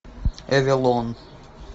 эвелон